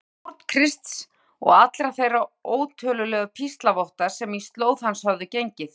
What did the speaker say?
Hvað um fórn Krists og allra þeirra ótölulegu píslarvotta sem í slóð hans höfðu gengið?